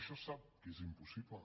això sap que és impossible